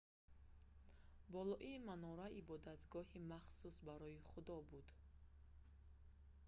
болои манора ибодатгоҳи махсус барои худо буд